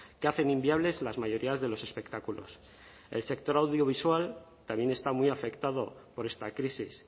que hacen inviables las mayorías de los espectáculos el sector audiovisual también está muy afectado por esta crisis